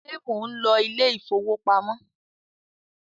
ṣe món ló Ilé ìfowópamọ́?